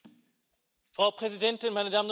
Frau Präsidentin, meine Damen und Herren!